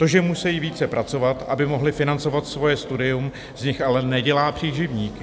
To, že musejí více pracovat, aby mohli financovat svoje studium, z nich ale nedělá příživníky.